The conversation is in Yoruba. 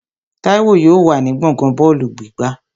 Táíwò yóò wà ní gbọ̀ngán bọ́ọ̀lù gbígbá